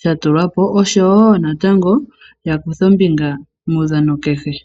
sha tulwapo oshowo natango ya kuthe ombinga muudhano kehe.